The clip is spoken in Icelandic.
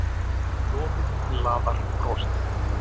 Lofið laðar brosið.